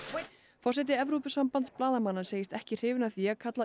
forseti Evrópusambands blaðamanna segist ekki hrifinn af því að kalla